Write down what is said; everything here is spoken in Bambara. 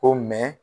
Ko